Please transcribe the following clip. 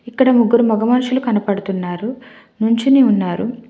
ఇక్కడ ముగ్గురు మగ మనుషులు కనపడుతున్నారు నుంచొని ఉన్నారు.